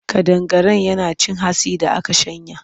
Ƙadangaren yana cin hatsin da aka shanya.